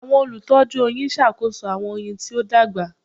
Awọn olutọju oyin ṣakoso awọn oyin ti o dagba